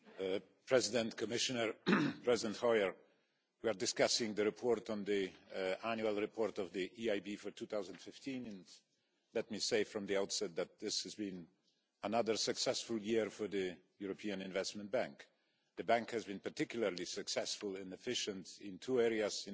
Madam President, Commissioner, President Hoyer, we are discussing the report on the Annual Report of the EIB for 2015, and let me say from the outset that this has been another successful year for the European Investment Bank. In my opinion, the bank has been particularly successful and efficient in two areas.